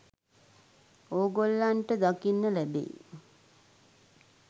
ඕගොල්ලන්ට දකින්න ලැබෙයි